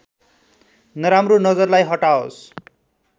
नराम्रो नजरलाई हटाओस्